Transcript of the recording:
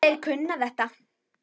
Þeir kunna þetta.